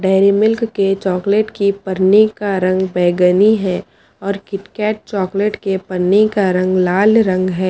Dairy Milk के chocolate की पन्नी का रंग बैंगनी है और किटकैट चॉकलेट के पन्नी का रंग लाल रंग है।